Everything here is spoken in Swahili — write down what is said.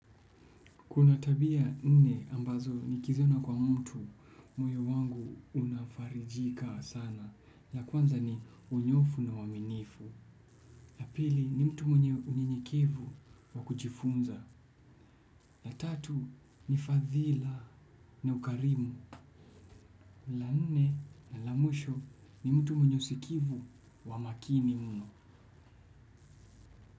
Kuna tabia nne ambazo nikiziona kwa mtu, moyo wangu unafarijika sana, ya kwanza ni unyofu na uaminifu, ya pili ni mtu mwenye unyenyekevu wa kujifunza, na tatu ni fadhila na ukarimu, la nne na la mwisho ni mtu mwenye usikivu wa makini mno.